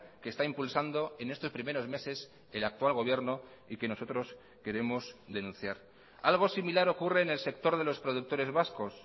que está impulsando en estos primeros meses el actual gobierno y que nosotros queremos denunciar algo similar ocurre en el sector de los productores vascos